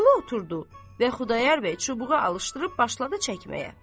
Vəliqulu oturdu və Xudayar bəy çubuğu alışdırıb başladı çəkməyə.